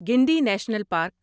Guindy national park